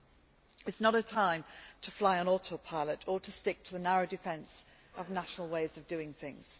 This is not a time to fly on auto pilot or to stick to the narrow defence of national ways of doing things.